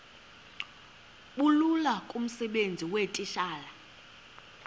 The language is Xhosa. bulula kumsebenzi weetitshala